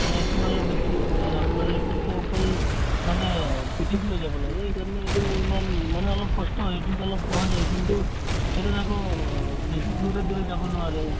মানে এইটোত অলপ বেছি অ ইয়াত আপোনাৰ এইটোতো অকল মানে পিঠিত লৈ যাব লাগে সেইকাৰণে এইটো ইমান মানে অলপ কষ্ট হয় এইটোত অলপ পোৱা যায় কিন্তু এইটোত আকৌ বেছি দূৰে দূৰে যাব নোৱাৰে